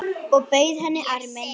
Og bauð henni arminn.